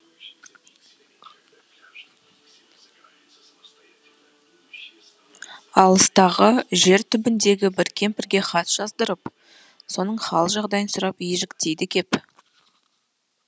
алыстағы жер түбіндегі бір кемпірге хат жаздырып соның хал жағдайын сұрап ежіктейді кеп